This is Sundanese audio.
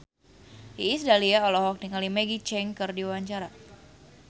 Iis Dahlia olohok ningali Maggie Cheung keur diwawancara